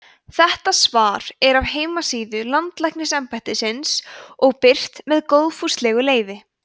þetta svar er af heimasíðu landlæknisembættisins og birt með góðfúslegu leyfi